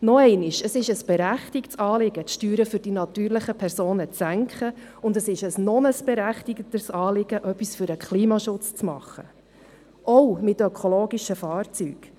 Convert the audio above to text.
Noch einmal: Es ist ein berechtigtes Anliegen, die Steuern für die natürlichen Personen zu senken, und es ist ein noch berechtigteres Anliegen, etwas für den Klimaschutz zu tun – auch mit ökologischen Fahrzeugen.